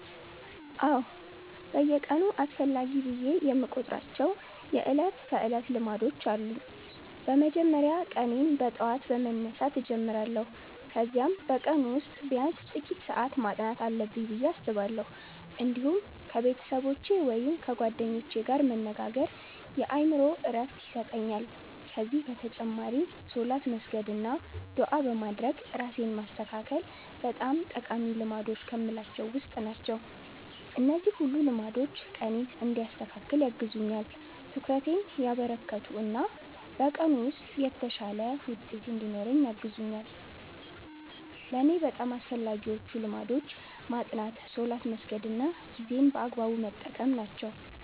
አዎ፣ በየቀኑ አስፈላጊ ብዬ የምቆጥራቸው የዕለት ተዕለት ልማዶች አሉ። በመጀመሪያ ቀኔን በጠዋት በመነሳት እጀምራለሁ፣ ከዚያም በቀኑ ውስጥ ቢያንስ ጥቂት ሰዓት ማጥናት አለብኝ ብዬ አስባለሁ። እንዲሁም ከቤተሰቦቼ ወይም ከጓደኞቼ ጋር መነጋገር የአእምሮ ዕረፍት ይሰጠኛል። ከዚህ በተጨማሪ ሶላት በመስገድ አና ዱዓ በማድረግ ራሴን ማስተካከል በጣም ጠቃሚ ልማዶች ከምላቸዉ ዉስጥ ናቸው። እነዚህ ሁሉ ልማዶች ቀኔን እንዲያስተካክል ያግዙኛል፣ ትኩረቴን ያበረከቱ እና በቀኑ ውስጥ የተሻለ ውጤት እንድኖረኝ ያግዙኛል። ለእኔ በጣም አስፈላጊዎቹ ልማዶች ማጥናት፣ ሶላት መስገድ እና ጊዜን በአግባቡ መጠቀም ናቸው።